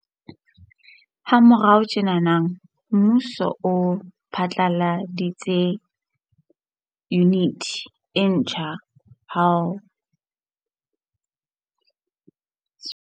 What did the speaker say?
Ha morao tjena, mmuso o phatlaladitse Yuniti e ntjha ya ho Thusa ka Merero ya Mai tshwaro, Botshepehi le Di kgato tsa Kgalemelo ya Ba sebetsi Tshebeletsong ya Setjhaba.